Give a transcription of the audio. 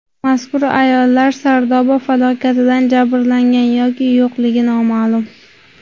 Mazkur ayollar Sardoba falokatidan jabrlangan yoki yo‘qligi noma’lum.